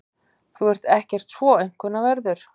Þú ert ekkert svo aumkunarverður.